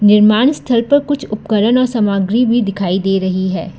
निर्माण स्थल पर कुछ उपकरण और सामग्री भी दिखाई दे रही है।